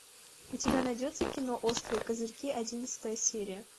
у тебя найдется кино острые козырьки одиннадцатая серия